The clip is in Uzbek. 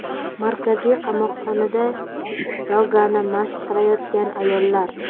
Markaziy qamoqxonada yogani mashq qilayotgan ayollar.